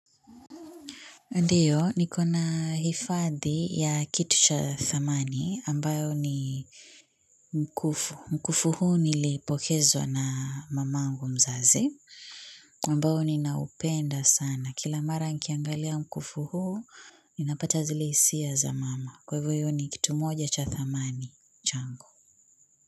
Ndiyo, niko na hifadhi ya kitu cha thamani, ambayo ni mkufu. Mkufu huu nilipokezwa na mamangu mzazi, ambao ni naupenda sana. Kila mara nikiangalia mkufu huu, ninapata zile hisia za mama. Kwa hivyo hiyo ni kitu moja cha thamani. Changu.